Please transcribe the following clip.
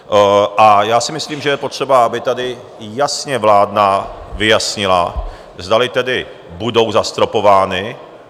A já si myslím, že je potřeba, aby tady jasně vláda vyjasnila, zdali tedy budou zastropovány...